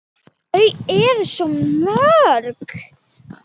Þau eru svo mörg.